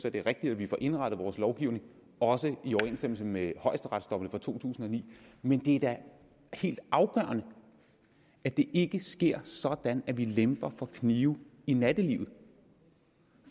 at det er rigtigt at vi får indrettet vores lovgivning også i overensstemmelse med højesteretsdommene fra to tusind og ni men det er da helt afgørende at det ikke sker sådan at vi lemper for knive i nattelivet